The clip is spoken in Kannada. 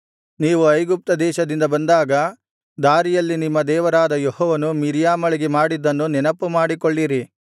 ನೀವು ಐಗುಪ್ತದೇಶದಿಂದ ಬಂದಾಗ ದಾರಿಯಲ್ಲಿ ನಿಮ್ಮ ದೇವರಾದ ಯೆಹೋವನು ಮಿರ್ಯಾಮಳಿಗೆ ಮಾಡಿದ್ದನ್ನು ನೆನಪುಮಾಡಿಕೊಳ್ಳಿರಿ